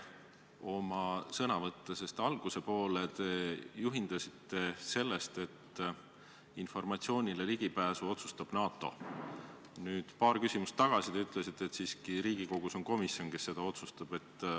Oma sõnavõtu alguses te juhindusite sellest, et informatsioonile ligipääsu otsustab NATO, nüüd paar küsimust tagasi aga ütlesite, et siiski Riigikogus on komisjon, kes seda otsustab.